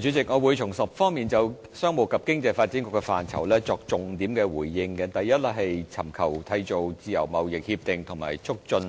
主席，我會從10方面就商務及經濟發展局的範疇作重點回應：第一，是尋求締結自由貿易協定及促進